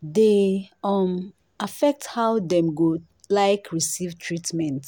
dey um affect how dem go like receive treatment.